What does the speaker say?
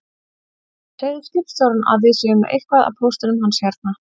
Segðu skipstjóranum að við séum með eitthvað af póstinum hans hérna